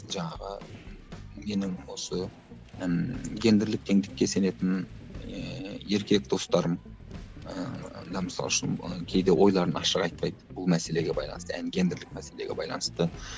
жаңағы менің осы ммм гендірлік теңдікке сенетін ыыы еркек достарым ыыы мысалы үшін кейде ойларын ашық айтпайды бұл мәселеге байланысты гендірлік мәселеге байланысты